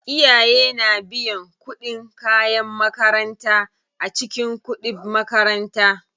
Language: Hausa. Iyaye na biyan kuɗin kayan makaranta a cikin kuɗib makaranta.